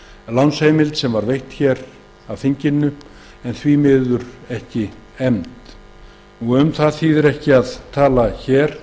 lánsheimild sem veitt var af þinginu en því miður ekki efnd um það þýðir ekki að tala hér